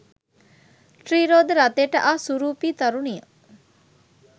ත්‍රීරෝද රථයට ආ සුරූපී තරුණිය